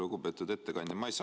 Lugupeetud ettekandja!